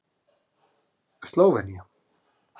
Slóvenía